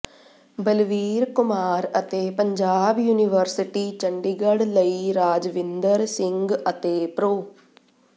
ਬਲਵੀਰ ਕੁਮਾਰ ਅਤੇ ਪੰਜਾਬ ਯੂਨੀਵਰਸਿਟੀ ਚੰਡੀਗੜ੍ਹ ਲਈ ਰਾਜਵਿੰਦਰ ਸਿੰਘ ਅਤੇ ਪ੍ਰੋ